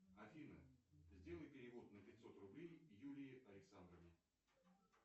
афина сделай перевод на пятьсот рублей юлии александровне